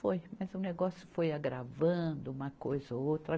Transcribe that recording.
Foi, mas o negócio foi agravando uma coisa ou outra.